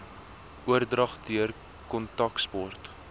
oordrag deur kontaksport